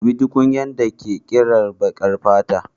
Dubi tukunyar da ke kira baƙar fata